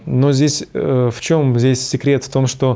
но здесь ээ в чем здесь секрет в том что